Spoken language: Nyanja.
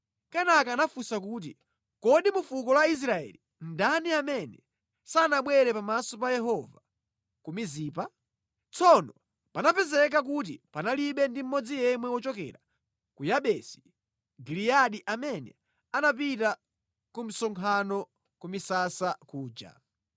Kenaka anafunsa kuti, ‘Kodi mu fuko la Israeli ndani amene sanabwere pamaso pa Yehova ku Mizipa?’ ” Tsono panapezeka kuti panalibe ndi mmodzi yemwe wochokera ku Yabesi Giliyadi amene anapita ku msonkhano ku misasa kuja.